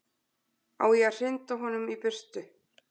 Á ég að hrinda honum í burtu?